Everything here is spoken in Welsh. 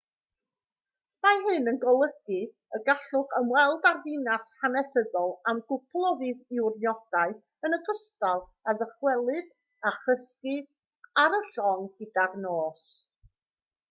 mae hyn yn golygu y gallwch ymweld â'r ddinas hanesyddol am gwpl o ddiwrnodau yn ogystal â dychwelyd a chysgu ar y llong gyda'r nos